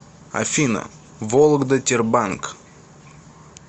афина вологда тербанк